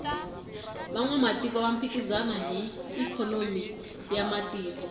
vanwamatiko va phikizana hi ikhonomi ya matiko